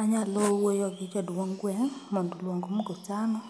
Anyalo wuoyo gi jadung' gweng', mondo oluong mkutano,